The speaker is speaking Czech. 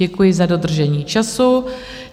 Děkuji za dodržení času.